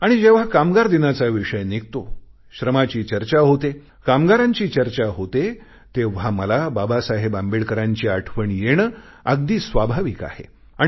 आणि जेव्हा कामगार दिनाचा विषय निघतो श्रमाची चर्चा होते कामगारांची चर्चा होते तेव्हा मला बाबासाहेब आंबेडकरांची आठवण येणे अगदी स्वाभाविक आहे